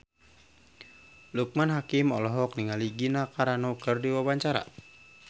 Loekman Hakim olohok ningali Gina Carano keur diwawancara